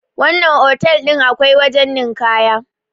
wannan otal din akwai wajen ninkaya